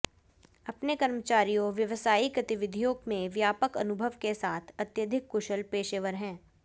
अपने कर्मचारियों व्यावसायिक गतिविधियों में व्यापक अनुभव के साथ अत्यधिक कुशल पेशेवर हैं